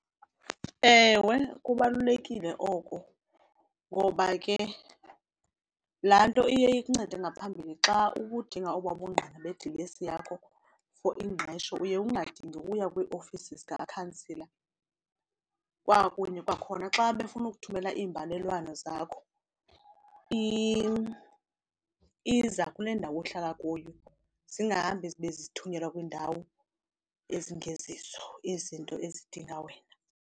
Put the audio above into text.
Ewe, kubalulekile oko ngoba ke laa nto iye ikuncede ngaphambili xa ubudinga obaa bungqina bedilesi yakho for ingqesho uye ungadingi uya kwiiofisi zikakhansila. Kwakunye kwakhona xa befuna ukuthumela iimbalelwano zakho iza kule ndawo uhlala kuyo, zingahambi zibe zithunyelwa kwiindawo ezingezizo izinto ezidinga wena.